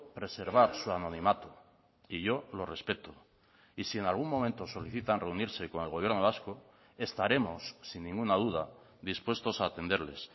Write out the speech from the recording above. preservar su anonimato y yo lo respeto y si en algún momento solicitan reunirse con el gobierno vasco estaremos sin ninguna duda dispuestos a atenderles